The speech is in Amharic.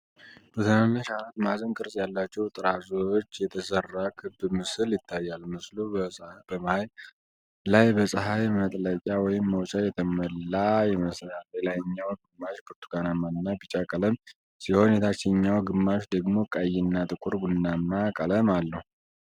በትናንሽ አራት ማዕዘን ቅርጽ ያላቸው ጥራዞች የተሠራ ክብ ምስል ይታያል። ምስሉ በመሃል ላይ በፀሐይ መጥለቂያ/መውጫ የተሞላ ይመስላል። የላይኛው ግማሽ ብርቱካናማ እና ቢጫ ቀለም ሲሆን፣ የታችኛው ግማሽ ደግሞ ቀይ እና ጥቁር ቡናማ ቀለም አለው።